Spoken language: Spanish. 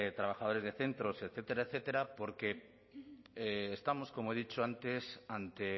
trabajadores de centros etcétera etcétera porque estamos como he dicho antes ante